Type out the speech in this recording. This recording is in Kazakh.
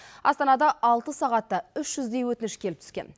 астанада алты сағатта үш жүздей өтініш келіп түскен